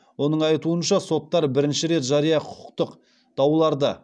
оның айтуынша соттар бірінші рет жария құқықтық дауларды